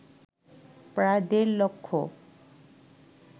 প্রায় দেড় লক্ষ